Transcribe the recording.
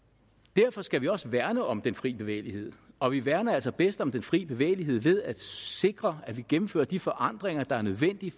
derfor skal vi også værne om den fri bevægelighed og vi værner altså bedst om den fri bevægelighed ved at sikre at vi gennemfører de forandringer der er nødvendige